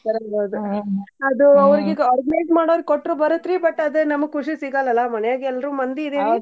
ಅದು ಅವ್ರಿಗೆ ಈಗ organize ಮಾಡೋರ್ಗ ಕೊಟ್ರ ಬರುತ್ ರೀ but ಅದ್ ನಮ್ಗ ಖುಷಿ ಸಿಗಲ್ಲಲಾ ಮನ್ಯಾಗ್ ಎಲ್ರ ಮಂದಿ ಅದಿವಿ .